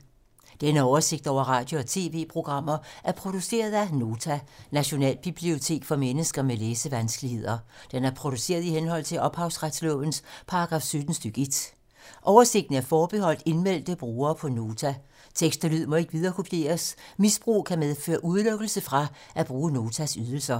Denne oversigt over radio og TV-programmer er produceret af Nota, Nationalbibliotek for mennesker med læsevanskeligheder. Den er produceret i henhold til ophavsretslovens paragraf 17 stk. 1. Oversigten er forbeholdt indmeldte brugere på Nota. Tekst og lyd må ikke viderekopieres. Misbrug kan medføre udelukkelse fra at bruge Notas ydelser.